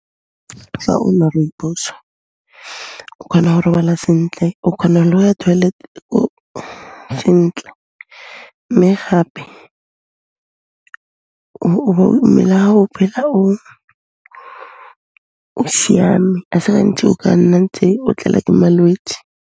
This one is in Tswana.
Fa o nwa Rooibos-o khona ho robala sentle o khona le ho ya toilet k'ore sentle mme gape, mmel'a hao o phela o siame, a se gantsi o ka nna ntse o tlelwa ke malwetse.